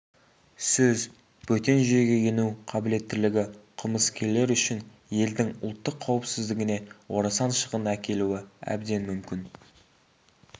сөз бөтен жүйеге ену қабілеттілігі қылмыскерлер үшін елдің ұлттық қауіпсіздігіне орасан шығын әкелуі әбден мүмкін